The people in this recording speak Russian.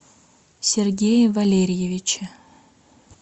сергее валериевиче